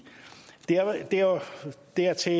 dertil